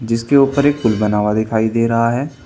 जिसके ऊपर एक पुल बना हुआ दिखाई दे रहा है।